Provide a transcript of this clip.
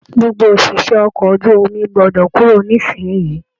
Gbogbo oṣiṣẹ okọ̀ ojú omi gbọdọ kúrò nisinyi!